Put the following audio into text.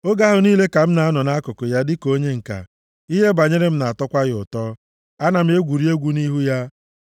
Oge ahụ niile ka m na-anọ nʼakụkụ ya dịka onye ǹka. Ihe banyere m na-atọkwa ya ụtọ; ana m egwuri egwu nʼihu ya.